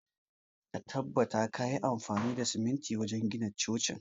Tabbata kayi amfani da siminti wajen gina cocin!